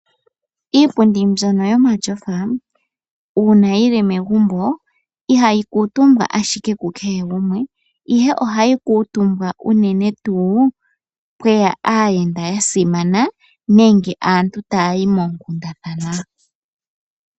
Iipundi mbyono yomatyofa uuna yili megumbo ihayi kuutumbwa ashike ku kehe gumwe. Ohayi kuutumbwa uunene tuu pweya aayenda yasimana nenge aantu taya yi moonkundathana.